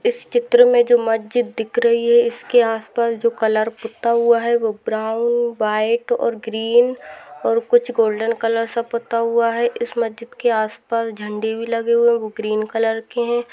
इस चित्र में जो मस्जिद दिख रही है इसके आस पास जो कलर पुता हुआ है वो ब्राऊन व्हाइट और ग्रीन और कुछ गोल्डन कलर सा पुता हुआ है इस मस्जिद के आस पास झंडे भी लगे हुए है जो ग्रीन कलर के है।